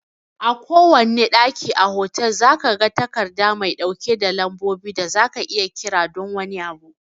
A kowanne ɗaki a otal, zaka ga takarda mai ɗauke da lambobin da zaka iya kira don wani abu